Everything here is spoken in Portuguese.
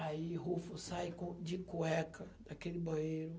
Aí, Rufo sai de cueca daquele banheiro.